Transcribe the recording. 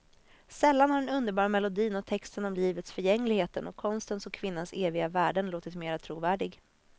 Sällan har den underbara melodin och texten om livets förgängligheten och konstens och kvinnans eviga värden låtit mera trovärdig.